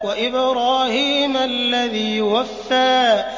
وَإِبْرَاهِيمَ الَّذِي وَفَّىٰ